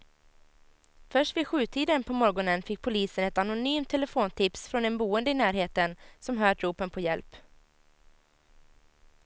Först vid sjutiden på morgonen fick polisen ett anonymt telefontips från en boende i närheten som hört ropen på hjälp.